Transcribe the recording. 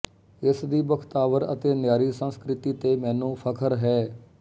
ਇਸ ਦੀ ਬਖਤਾਵਰ ਅਤੇ ਨਿਆਰੀ ਸੰਸਕ੍ਰਿਤੀ ਤੇ ਮੈਨੂੰ ਫਖਰ ਹੈ